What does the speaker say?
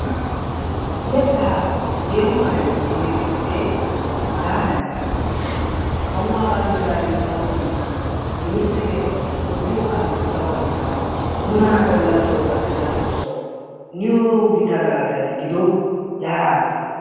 Yetaa yeeho karen immiya bitanee hagaadan yaagis. Kawuwaa bandiraassi saruwa immada, timirtte keettawu, toggiyo kaamiyawu saruwaa immada nuna ha galassawu gattida xoosawu niyo gita galattay gido yaagiis.